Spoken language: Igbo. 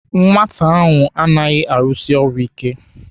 Nwata ahụ anaghị arusi ọrụ ike.